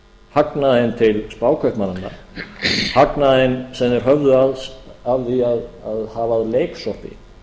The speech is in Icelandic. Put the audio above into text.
hagnaðinn til spákaupmannanna hagnaðinn sem þeir höfðu af því að hafa að leiksoppi